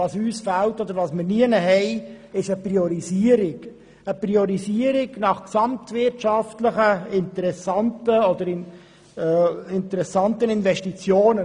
Vor allem vermissen wir auch eine Priorisierung nach gesamtwirtschaftlich interessanten Investitionen.